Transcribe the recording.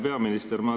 Hea peaminister!